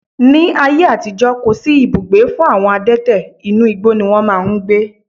Ní ayé àtijó, kò sí ibùgbé fún àwọn adẹ́tẹ̀, inú igbó ni wón máa ń gbé.